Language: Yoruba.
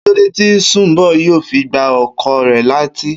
Kílódé tí Sùnḿbò̩ yóò fi gbá o̩kò̩ rè̩ létí?